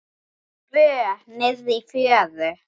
Tvö niðri í fjöru.